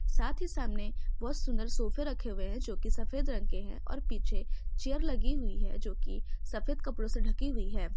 साथ ही सामने बहुत सुंदर सोफे रखे हुए हैं जो की सफेद रंग के हैं और पीछे चैयर लगी हुई है जो कि सफेद कपड़ों से ढकी हुई है।